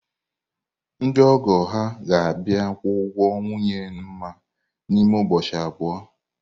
Ndị ọgọ ha ga-abịa kwụọ ụgwọ nwunye Nma n’ime ụbọchị abụọ.